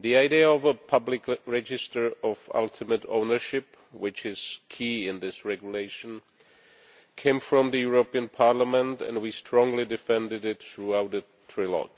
The idea of a public register of ultimate ownership, which is key in this regulation, came from Parliament and we strongly defended it throughout the trilogue.